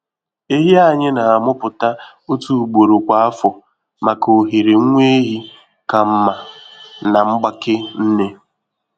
Ehi anyị na-amụpụta otu ugboro kwa afọ maka ohere nwa ehi ka mma na mgbake nne.